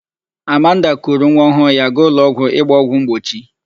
Amanda kuru nwaọhụụ ya gaa ụlọọgwụ ịgba ọgwụ mgbochi.